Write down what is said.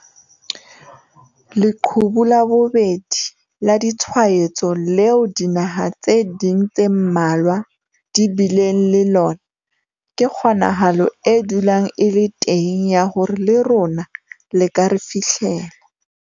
'Leqhubu la bobedi' la ditshwaetso leo dinaha tse ding tse mmalwa di bileng le lona ke kgonahalo e dulang e le teng ya hore le rona le ka re fihlela.